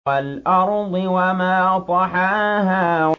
وَالْأَرْضِ وَمَا طَحَاهَا